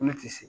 Ko ne ti se